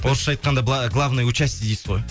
орысша айтқандай главное участие дейсіз ғой